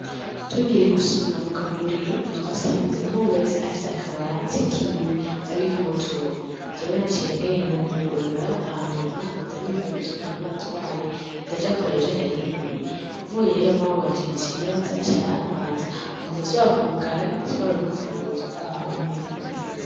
Tugiye gusuma mu kaguriro, twasanze umwe wese afise akabati kiwe abikamwo utuntu, jewe naciye ngenda ndugurura hanyuma ndabikawo utuntu nari natwaye ndaja kuraba ivyo nari nkeneye, mvuyeyo mawe wanje yaciye aza aca arantwaza hama ndasubira kwugara ndatwara n'urufunguruzo gwaho, ibintu bigenze neza.